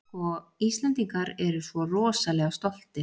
Sko, Íslendingar eru svo rosalega stoltir.